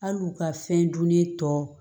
Hali u ka fɛn dunnen tɔ